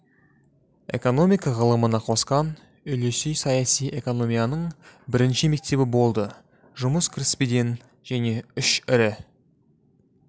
экономика ғылымына қосқан үлесі саяси экономияның бірінші мектебі болды жұмыс кіріспеден және үш ірі